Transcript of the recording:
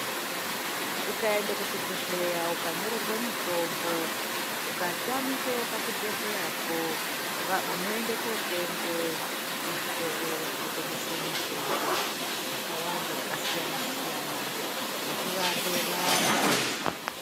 Ukaende kuchibhedhlera ukanyorerwa mutombo ukatamika pachibhedhlera po unoende kunotenga muzvitoro zvi notengese mutombo yakawanda yakasiyana siyana yekurape vantu.